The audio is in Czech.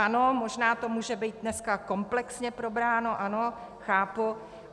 Ano, možná to může být dneska komplexně probráno, ano, chápu.